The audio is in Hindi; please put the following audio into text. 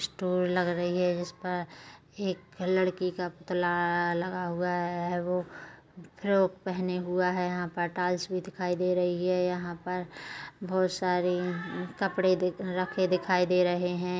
स्टोर लग रही है जिसपर एक लड़की का पुतला लगा हुआ है वो फ्रॉक पहने हुआ है यहाँ पर टाइल्स भी दिखाई दे रही है यहाँ पर बोहत सारी कपड़े रखे दिखाई रहे है ।